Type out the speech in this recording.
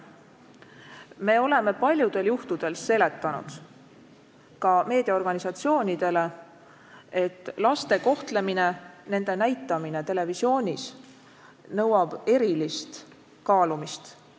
Me oleme paljudel juhtudel seletanud, ka meediaorganisatsioonidele, et laste kohtlemine, nende näitamine televisioonis nõuab erilist kaalumist.